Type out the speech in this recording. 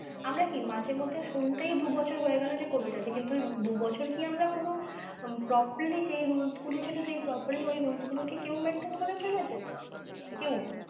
আমরা কি মাঝে মধ্যে শুনতেই দু বছর হয়ে গেলো যে covid আছে কিন্তু দু বছর কি আমরা পুরো properly যেই rules গুলো ছিল সেই properly ওই rules গুলো কি কেউ maintain করে চলেছে? কেউ না।